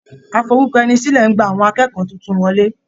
Aforúkọẹnisílẹ̀ ń gba àwọn akẹ́kọ̀ọ́ tuntun wọlé.